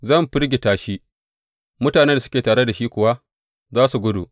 Zan firgita shi, mutanen da suke tare da shi kuwa za su gudu.